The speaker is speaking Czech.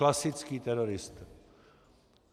Klasický terorista.